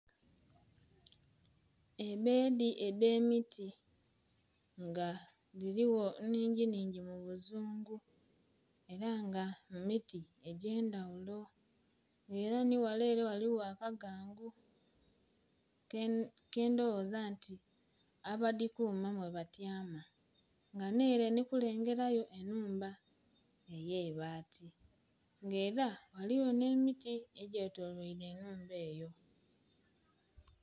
Ebedhi edhe miti nga dhiligho nnhingi nnhingi mu buzungu era nga mumiti edhe ndhaghulo nga era nhi ghale ere ghaligho akagangu kendhoghoza nti abadhikuma mwe ba tyama nga nhere ndhi kulengerayo enhumba eyeibati nga era eriyo nhe miti edhetoloirwe enhumba eyo.